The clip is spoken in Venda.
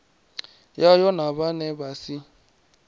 yayo na vhane vha si